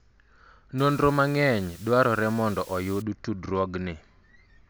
nonro mang'eny dwarore mondo oyud tudruogni